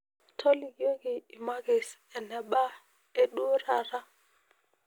tolikioki imakis e nba eduo taata